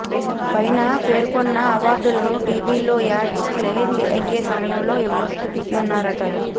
పైన పేర్కొన్న అవార్డులను టీవీల్లో యాడ్స్ ప్లే అయ్యే సమయంలో ఇవ్వనున్నారట